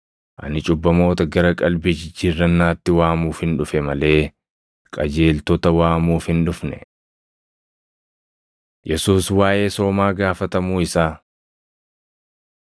Ani cubbamoota gara qalbii jijjiirrannaatti waamuufin dhufe malee qajeeltota waamuuf hin dhufne.” Yesuus Waaʼee Soomaa Gaafatamuu Isaa 5:33‑39 kwf – Mat 9:14‑17; Mar 2:18‑22